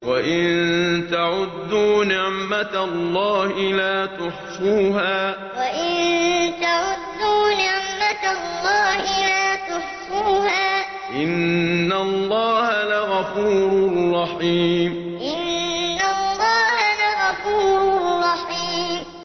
وَإِن تَعُدُّوا نِعْمَةَ اللَّهِ لَا تُحْصُوهَا ۗ إِنَّ اللَّهَ لَغَفُورٌ رَّحِيمٌ وَإِن تَعُدُّوا نِعْمَةَ اللَّهِ لَا تُحْصُوهَا ۗ إِنَّ اللَّهَ لَغَفُورٌ رَّحِيمٌ